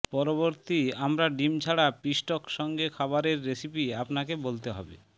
পরবর্তী আমরা ডিম ছাড়া পিষ্টক সঙ্গে খাবারের রেসিপি আপনাকে বলতে হবে